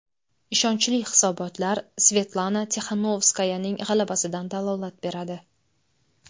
Ishonchli hisobotlar Svetlana Tixanovskayaning g‘alabasidan dalolat beradi.